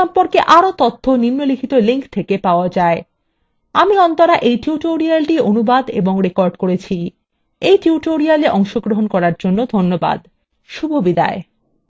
আমি অন্তরা এই tutorialটি অনুবাদ এবং রেকর্ড করেছি এই tutorialএ অংশগ্রহন করার জন্য ধন্যবাদ শুভবিদায়